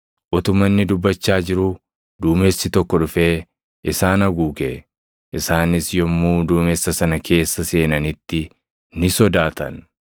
Utuma inni dubbachaa jiruu duumessi tokko dhufee isaan haguuge; isaanis yommuu duumessa sana keessa seenanitti ni sodaatan.